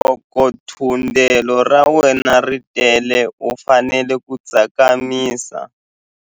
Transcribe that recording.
Loko thundelo ra wena ri tele u fanele ku tsakamisa.